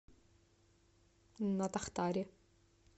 натахтари